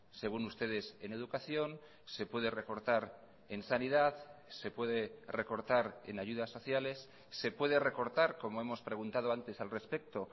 según ustedes en educación se puede recortar en sanidad se puede recortar en ayudas sociales se puede recortar como hemos preguntado antes al respecto